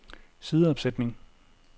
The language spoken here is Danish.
sideopsætning